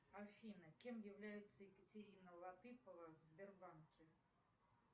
афина кем является екатерина латыпова в сбербанке